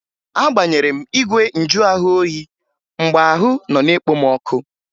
Agbaghere m igwe njuahụoyi mgbe ahụ nọ na-ekpo m ọkụ